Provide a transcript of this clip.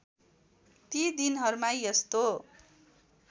ती दिनहरूमा यस्तो